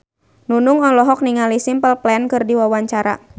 Nunung olohok ningali Simple Plan keur diwawancara